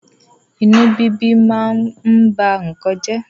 Inú bíbí ma ń ba nnkan jẹ́.